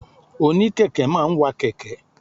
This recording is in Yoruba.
Òní kẹ̀kẹ́ máa ń wa kẹ̀kẹ́.